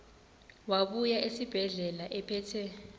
wabuya esibedlela ephethe